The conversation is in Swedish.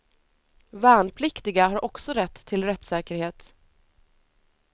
Värnpliktiga har också rätt till rättssäkerhet.